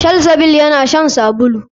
Salsabil yana shan sabulu.